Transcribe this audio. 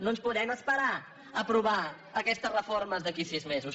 no ens podem esperar a aprovar aquestes reformes d’aquí a sis mesos